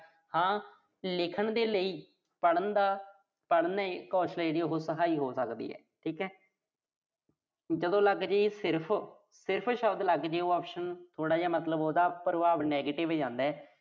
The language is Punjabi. ਹਾਂ, ਲਿਖਣ ਦੇ ਲਈ, ਪੜ੍ਹਨ ਦਾ। ਪੜ੍ਹਨ ਕੌਸ਼ਲ ਆ ਜਿਹੜੀ ਉਹੋ ਸਹਾਈ ਹੋ ਸਕਦੀ ਆ। ਠੀਕ ਆ। ਜਦੋਂ ਲੱਗਜੇ ਸਿਰਫ਼, ਸਿਰਫ਼ ਸ਼ਬਦ ਲੱਗਜੇ। ਉਹਦਾ ਪ੍ਰਭਾਵ ਥੋੜ੍ਹਾ ਜਾ negative ਜਾਂਦਾ।